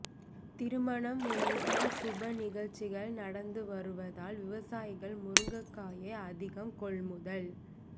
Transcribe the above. திருமணம் உள்ளிட்ட சுப நிகழ்ச்சிகள் நடந்து வருவதால் விவசாயிகள் முருங்கைக்காயை அதிகம் கொள்முதல்